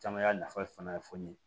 Caman y'a nafa fana ye fo ne ye